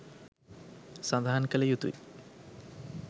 සඳහන් කළ යුතු යි.